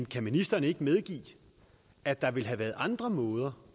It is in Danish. kan ministeren ikke medgive at der ville have været andre måder